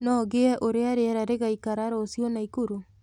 no ngĩe uria rĩera rĩgaĩkara ruciu naikuru